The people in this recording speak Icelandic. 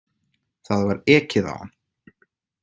Það var ekið á hann